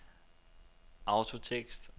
autotekst